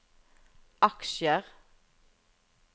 aksjer